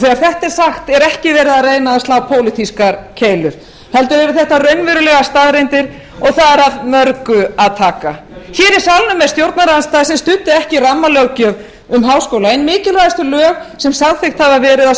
þegar þetta er sagt er ekki verið að slá pólitískar keilur heldur eru þetta raunverulegar staðreyndir og þar er af mörgu að taka hér í salnum er stjórnarandstaða sem studdi ekki rammalöggjöf um háskóla ein mikilvægustu lög sem samþykkt hafa verið á